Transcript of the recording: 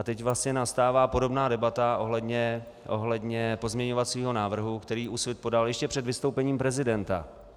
A teď vlastně nastává podobná debata ohledně pozměňovacího návrhu, který Úsvit podal ještě před vystoupením prezidenta.